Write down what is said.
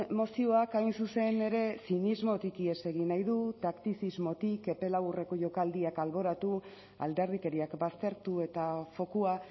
mozioak hain zuzen ere zinismotik ihes egin nahi du taktizismotik epe laburreko jokaldiak alboratu alderdikeriak baztertu eta fokua